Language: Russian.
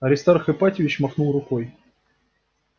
аристарх ипатьевич махнул рукой